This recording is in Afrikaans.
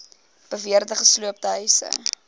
beweerde gesloopte huise